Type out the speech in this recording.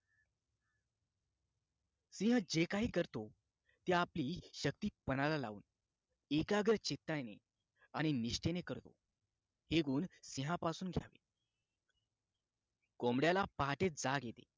सिंह जे काही करतो ते आपली शक्ती पणाला लावून एकाग्र चित्ताने आणि निष्ठेने करतो हे गुण सिहापासून घ्यावे कोंबड्याला पहाटे जाग येते